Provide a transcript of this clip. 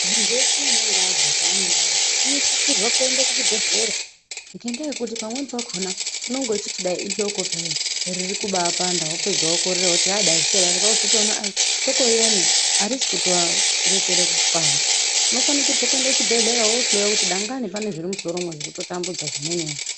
Muntu veshe unongaazwa chanenge azwa unosisirwa kuende kuchibhedhlera. Ngendaa yekuti pamweni pakona unonga achiti dai ihloko peyani dai kubapanda vapedza vokorera voti dai zvichadai vapedza vokorera voti hloko riyani harisi kutorekera kupanda. Unofanikirwe kuenda kuchibhedhleya vohloiwa kuti dangani pane zviri mumusoromo zviri kutotambudza zvimwenivo.